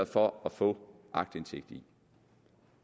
for at få aktindsigt